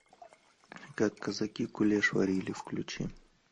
как казаки кулеш варили включи